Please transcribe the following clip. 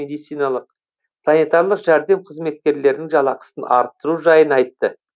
медициналық санитарлық жәрдем қызметкерлерінің жалақысын арттыру жайын айтты